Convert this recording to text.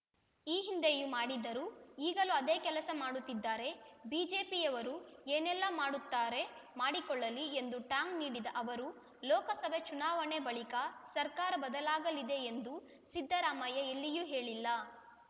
ಈ ಹಿಂದೆಯೂ ಮಾಡಿದ್ದರು ಈಗಲೂ ಅದೇ ಕೆಲಸ ಮಾಡುತ್ತಿದ್ದಾರೆ ಬಿಜೆಪಿಯವರು ಏನೆಲ್ಲಾ ಮಾಡುತ್ತಾರೆ ಮಾಡಿಕೊಳ್ಳಲಿ ಎಂದು ಟಾಂಗ್‌ ನೀಡಿದ ಅವರು ಲೋಕಸಭೆ ಚುನಾವಣೆ ಬಳಿಕ ಸರ್ಕಾರ ಬದಲಾಗಲಿದೆ ಎಂದು ಸಿದ್ದರಾಮಯ್ಯ ಎಲ್ಲಿಯೂ ಹೇಳಿಲ್ಲ